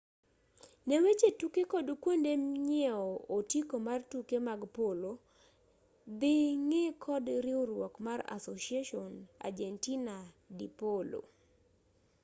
ne weche tuke kod kuonde nyiewo otiko mar tuke mag polo dhi ng'i kod riwruok mar asociacion argentina de polo